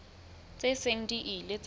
tse seng di ile tsa